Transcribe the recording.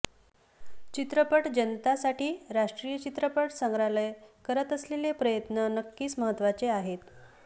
चित्रपट जतनासाठी राष्टीय चित्रपट संग्रहालय करत असलेले प्रयत्न नक्कीच महत्वाचे आहेत